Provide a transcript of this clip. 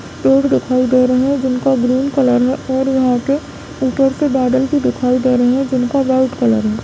पेड़ दिखाई दे रहे हैं जिनका ग्रीन कलर है और यहाँ पे ऊपर से बादल भी दिखाई दे रहे हैं जिनका रेड कलर है।